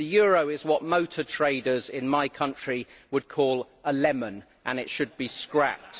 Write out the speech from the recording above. The euro is what motor traders in my country would call a lemon, and it should be scrapped.